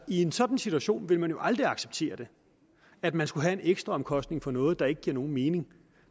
i en sådan situation vil man jo aldrig acceptere at man skulle have en ekstra omkostning for noget der ikke giver mening